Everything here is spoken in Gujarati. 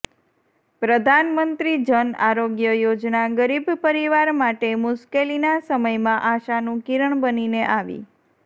પ્રધાનમંત્રી જન આરોગ્ય યોજના ગરીબ પરિવાર માટે મુશ્કેલીના સમયમાં આશાનું કિરણ બનીને આવી